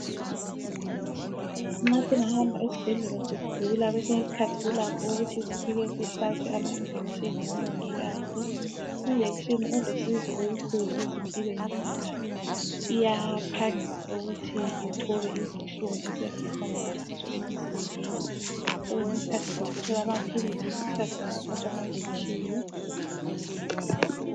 Nxa singahamba esibhedlela sigula kwesinye isikhathi kulakho ukuthi sifike sihlatshwe amanjekisheni ngomongikazi. Injekisheni ilusizo olukhulu ezimpilweni zethu. Iyaphangisa ukuthi ithobe izinhlungu esiyabe sihlangana lazo emzimbeni so kwesinye isikhathi singathola amaphilisi kwesinye isikhathi singahlatshwa amanjekisheni.